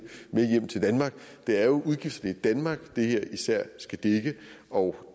med hjem til danmark det er jo udgiften i danmark det her især skal dække og